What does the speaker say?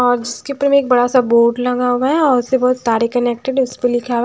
और उसके उपर में एक बड़ा सा बोर्ड लगा हुआ है और उससे बहुत तारे कनेक्ट हैं और उसपे लिखा --